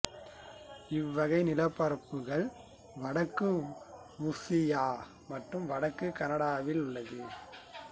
இவ்வகை நிலப்பரப்புகள் வடக்கு உருசியா மற்றும் வடக்கு கனடாவில் உள்ளது